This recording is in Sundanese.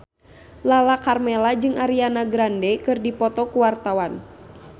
Lala Karmela jeung Ariana Grande keur dipoto ku wartawan